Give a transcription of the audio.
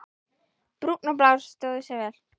Brúnn og Blár stóðu sig vel.